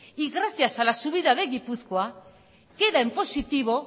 y gracias a la subida de gipuzkoa queda en positivo